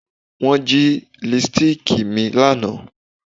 Wọn jí lipstíìkì mi lánàá